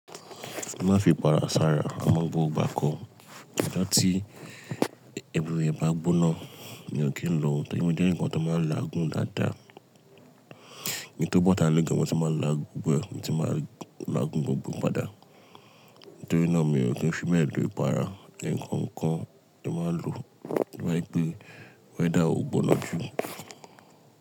Má fi para sára, amo gbogbo igbà ko. Lọ́jo tí, ẹverywhere bá gbóná mi ò kí n lo, tori mo eǹikan tó máa ń làágùn dáadáa. Ì tó bọ́ta lẹ́gẹ̀ẹ́ mo ti máa ń làágùn gbogbo e, mo ti máa ń làágùn gbógbò padà. Nítorí náà mi ò kí ń fi bee lo ìpara, ǹnkan kan ni mo máa ń lo tí o ba je wipè weather ogbona ju.